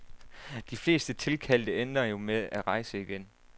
De fleste tilkaldte ender jo gerne med at rejse igen.